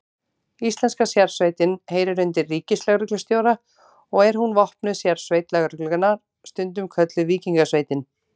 Íslenska sérsveitin heyrir undir ríkislögreglustjóra og er hún vopnuð sérsveit lögreglunnar, stundum kölluð Víkingasveitin.